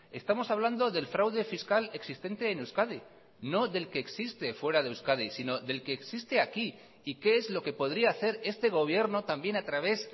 estamos hablando del fraude fiscal existente en euskadi no del que existe fuera de euskadi sino del que existe aquí y qué es lo que podría hacer este gobierno también a través